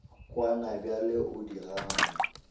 kwana bjale o di gana